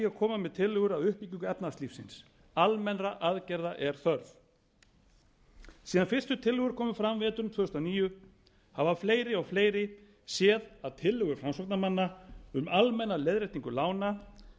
koma með tillögur að uppbyggingu efnahagslífsins almennra aðgerða er þörf síðan fyrstu tillögur komu fram veturinn tvö þúsund og níu hafa fleiri og fleiri séð að tillögur framsóknarmanna um almenna leiðréttingu lána